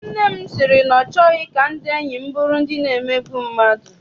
Nne m sị na ọ chọghị ka ndị enyi m bụrụ ndị na-emegbu mmadụ.